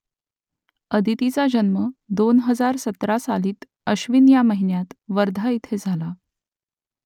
आदितीचा जन्म दोन हजार सतरा सालातील अश्विन या महिन्यात वर्धा इथे झाला